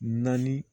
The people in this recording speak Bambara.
Naani